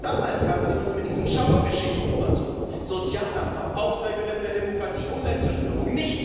Auch damals haben Sie uns mit diesen Schauergeschichten überzogen Sozialabbau, Aushebelung der Demokratie, Umweltzerstörung.